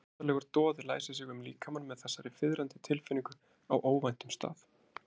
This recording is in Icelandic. Undarlegur doði læsir sig um líkamann með þessari fiðrandi tilfinningu á óvæntum stað.